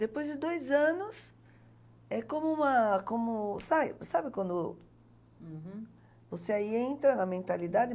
Depois de dois anos, é como uma, como... Sabe, sabe, uhum, você aí entra na mentalidade?